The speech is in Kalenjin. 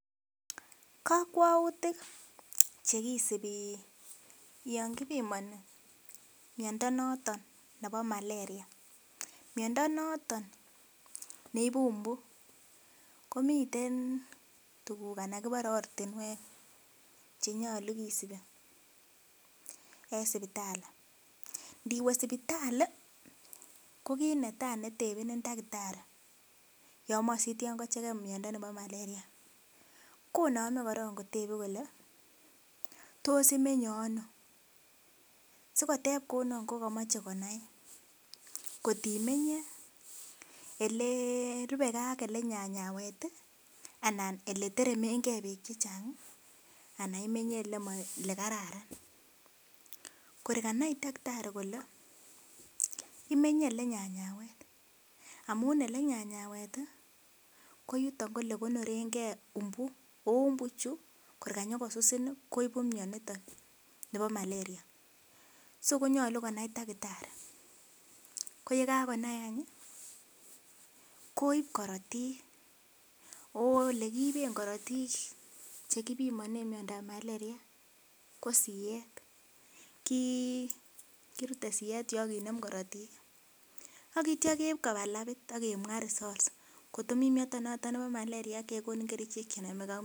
Kakwautik chekisubi yon kibimoni miondo noton nebo Maleria, miondo noton neibu mbu komiten tuguk anan kibore ortinuek chenyolu kisubi en sipitali, ndiwe sipitali ko kiit netai netebeni taktari yomoche sikochegen miondo nebo Maleria konome kotebe kole tos imenye ano, sikoteb kounon ko komoche konai ng'ot imenye elerupegen ak olenyanyawek anan eleteremengen beek chechang' anan imenye olekararan, kor kanai takatari kole imenye olenyanyawet amun olenyanyawet ii ko yuton ko olekonorengen mbu oo mbu ichu kor kanyokosusin ii koibu mioniton nebo Maleria, so konyolu konai taktari, ko yekakonai ii koib korotik, ago olekiiben korotik chekibimonen miondab Maleria ko siyeet, kirute siyeet yu ak kinem korotik ii ak kitya keiib koba labit ak kemwa results ng'ot komi miondo noton nebo Maleria kegonin kerichek chenomegen ak miondo.